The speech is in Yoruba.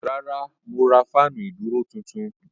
Rárá mo ra fáànù ìdúró tuntun.